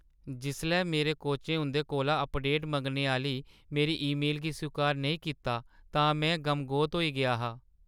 जिसलै मेरे कोचें उंʼदे कोला अपडेट मंगने आह्‌ली मेरी ईमेल गी स्वीकार नेईं कीता तां में गमगोत होई गेआ हा।